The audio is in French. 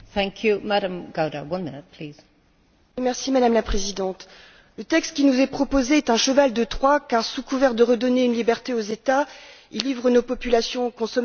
Madame la Présidente, le texte qui nous est proposé est un cheval de Troie, car sous couvert de redonner une liberté aux États, il livre nos populations, consommateurs et agriculteurs aux multinationales de l'agrochimie.